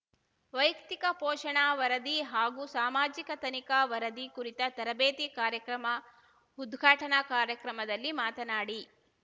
ವೈಯಕ್ತಿಕ ಪೋಷಣಾ ವರದಿ ಹಾಗೂ ಸಾಮಾಜಿಕ ತನಿಖಾ ವರದಿ ಕುರಿತ ತರಬೇತಿ ಕಾರ್ಯಕ್ರಮ ಉದ್ಘಾಟನಾ ಕಾರ್ಯಕ್ರಮದಲ್ಲಿ ಮಾತನಾಡಿ